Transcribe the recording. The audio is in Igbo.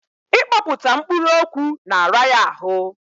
Ị kpọkpụta mkpụrụ okwu na-ara ya ahụ.